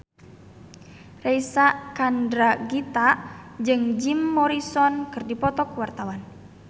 Reysa Chandragitta jeung Jim Morrison keur dipoto ku wartawan